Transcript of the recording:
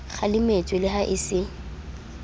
kgalemetswe le ha e se